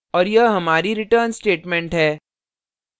और यह हमारी return statement है